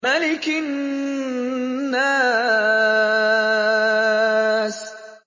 مَلِكِ النَّاسِ